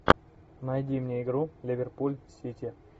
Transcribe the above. найди мне игру ливерпуль сити